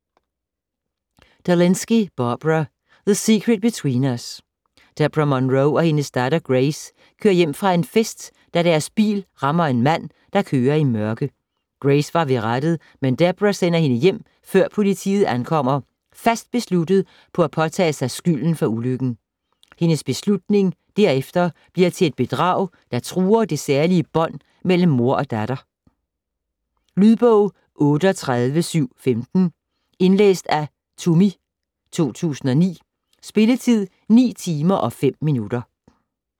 Delinsky, Barbara: The secret between us Deborah Monroe og hendes datter, Grace, kører hjem fra en fest, da deres bil rammer en mand, der kører i mørke. Grace var ved rattet, men Deborah sender hende hjem før politiet ankommer, fast besluttet på at påtage sig skylden for ulykken. Hendes beslutning derefter bliver til et bedrag, der truer det særlige bånd mellem mor og datter. Lydbog 38715 Indlæst af Tumi, 2009. Spilletid: 9 timer, 5 minutter.